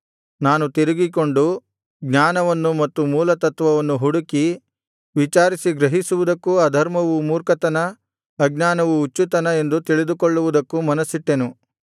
ನಾನು ತಿರುಗಿಕೊಂಡು ಜ್ಞಾನವನ್ನು ಮತ್ತು ಮೂಲತತ್ವವನ್ನು ಹುಡುಕಿ ವಿಚಾರಿಸಿ ಗ್ರಹಿಸುವುದಕ್ಕೂ ಅಧರ್ಮವು ಮೂರ್ಖತನ ಅಜ್ಞಾನವು ಹುಚ್ಚುತನ ಎಂದು ತಿಳಿದುಕೊಳ್ಳುವುದಕ್ಕೂ ಮನಸ್ಸಿಟ್ಟೆನು